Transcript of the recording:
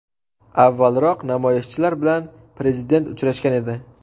Avvalroq namoyishchilar bilan prezident uchrashgan edi.